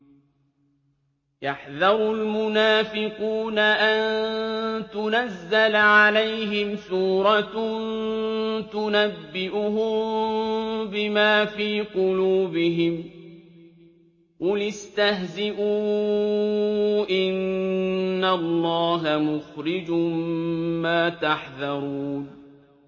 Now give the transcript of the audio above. يَحْذَرُ الْمُنَافِقُونَ أَن تُنَزَّلَ عَلَيْهِمْ سُورَةٌ تُنَبِّئُهُم بِمَا فِي قُلُوبِهِمْ ۚ قُلِ اسْتَهْزِئُوا إِنَّ اللَّهَ مُخْرِجٌ مَّا تَحْذَرُونَ